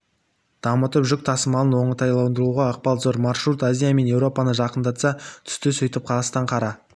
дамытып жүк тасымалын оңтайландыруға ықпалы зор маршрут азия мен еуропаны жақындата түсті сөйтіп қазақстан қара